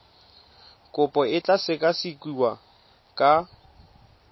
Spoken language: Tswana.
kopo e tla sekasekiwa ka